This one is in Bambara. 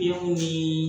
I kun bi